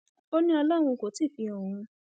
ó ní ọlọrun kò tí ì fi han òun